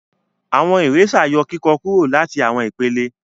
Awọn eraser yọ kikọ kúrò láti awọn ìpele.